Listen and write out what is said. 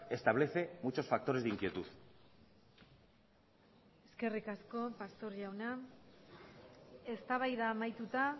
establece muchos factores de inquietud eskerrik asko pastor jauna eztabaida amaituta